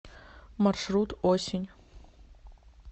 маршрут осень